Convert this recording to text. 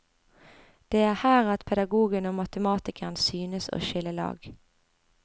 Det er her at pedagogen og matematikeren synes å skille lag.